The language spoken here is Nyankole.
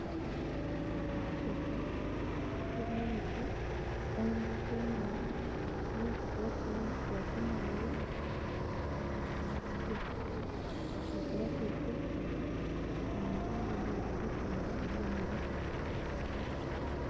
Ekishaka kirimu emiti kandi kyomire nikirebeka kuba kiriyo nikikwata omuriro kikusya nibakira kwosya ebishaka namunonga obwire bw'ekyanda bwaba nibuhwaho.